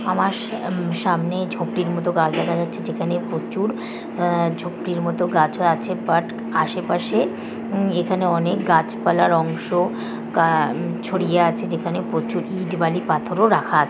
আমার সা সামনে ঝোপটির মত গাছ দেখা যাচ্ছে যেখানে প্রচুর আ ঝোপটির মতো গাছও আছে বাট আশেপাশে উমম এখানে অনেক গাছপালার অংশ আ ছড়িয়ে আছে যেখানে প্রচুর ইট বালি পাথরও রাখা--